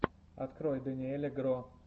открой дэниеля гро